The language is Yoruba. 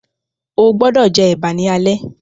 o gbódò jé eba ní alé!